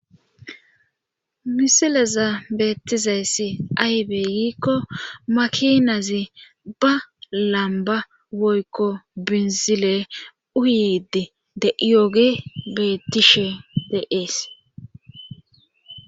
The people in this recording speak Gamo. Misileza beettizayssi aybey yiikko makinazi ba lamba woykko binzile uyidi de iyoogi betishe de ees.